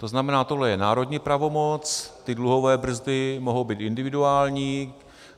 - To znamená, tohle je národní pravomoc, ty dluhové brzdy mohou být individuální.